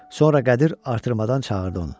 Sonra Qədir artırmadan çağırdı onu.